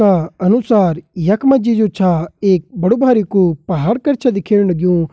का अनुसार यखमा जी जो छा एक बडु-भरिकु पहाड़ कर छै दिख्येण लगयूं।